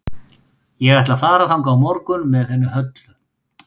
Ég ætla að fara þangað á morgun með henni Höllu.